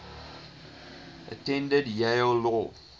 attended yale law